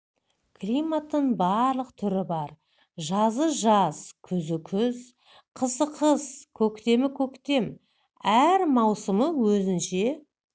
климаттың барлық түрі бар жазы жаз күзі күз қысы қыс көктемі көктем әр маусымы өзінше